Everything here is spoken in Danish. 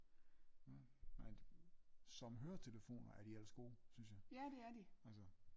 nå nej det som høretelefoner er de ellers gode synes jeg altså